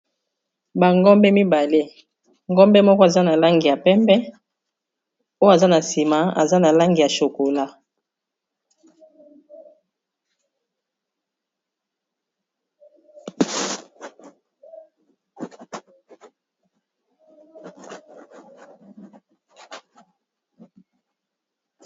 bangombe mibale ngombe moko aza na langi ya pembe oyo aza na nsima aza na langi ya chokola